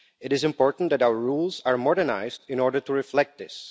It is important that our rules are modernised in order to reflect this.